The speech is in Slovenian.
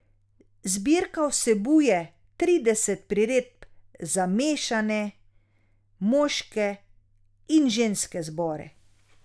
Zbirka vsebuje trideset priredb za mešane, moške in ženske zbore.